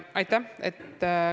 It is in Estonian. Aitäh!